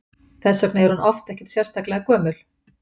Þess vegna er hún oft ekkert sérlega gömul.